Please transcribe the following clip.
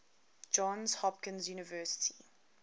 johns hopkins university